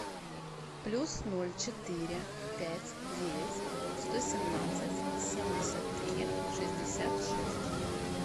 плюс ноль четыре пять девять сто семнадцать семьдесят три шестьдесят шесть